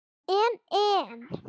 En. en.